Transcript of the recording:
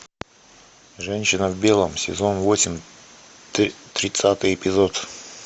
женщина в белом сезон восемь тридцатый эпизод